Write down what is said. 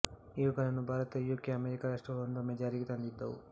ಇವುಗಳನ್ನು Bharata U K America ರಾಷ್ಟ್ರಗಳು ಒಂದೊಮ್ಮೆ ಜಾರಿಗೆ ತಂದಿದ್ದವು